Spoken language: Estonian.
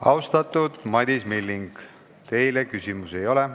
Austatud Madis Milling, teile küsimusi ei ole.